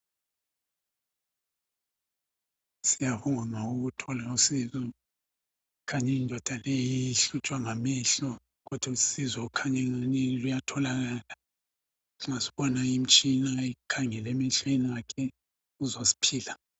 Siyabonga ukuthola usizo, kukhanya indoda leyi yayihlutshwa ngamehlo, kodwa usizo khanyengani luyatholakala nxa sibona imitshina ekhangele emehlweni akhe sizwa siphila.